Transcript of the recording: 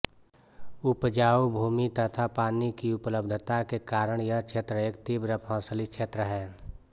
उपजाऊ भूमि तथा पानी की उपलब्धता के कारण यह क्षेत्र एक तीव्र फसली क्षेत्र है